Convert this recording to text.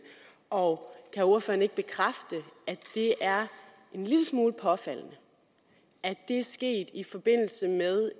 og kan ordføreren ikke bekræfte at det er en lille smule påfaldende at det er sket i forbindelse med